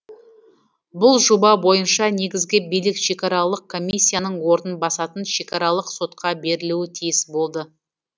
бұл жоба бойынша негізгі билік шекаралық комиссияның орнын басатын шекаралық сотқа берілуі тиіс болды